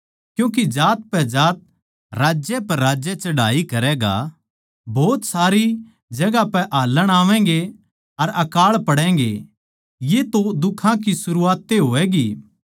क्यूँके जात पै जात राज्य पै राज्य चढ़ाई करैगा भोत सारी जगहां पै हाल्लण आवैगें अर अकाळ पड़ैंगें ये तो दुखां की सरूआत ए होवैगी